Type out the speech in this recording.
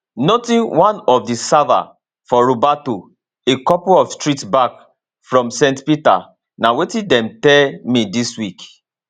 nothing one of di servers for roberto a couple of streets back from st peter na wetin dem tell me dis week